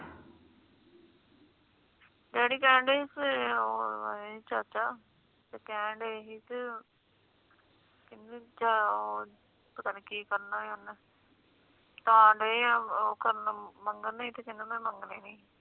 daddy ਕੈਨ ਡਾਏ ਸੀ ਓ ਚਾਚਾ ਕੈਨ ਦਏ ਸੀ ਪਤਾ ਨੀ ਕਿ ਕਰਨਾ ਓਨਾ ਤਾ ਨਾ ਓਨਾ ਮੰਗਣਾ ਤੇ ਓਨਾ ਮੰਗਣੇ ਨਹੀਂ